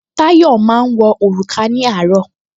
Táyọ̀ máa wọ òrùka ní àárọ̀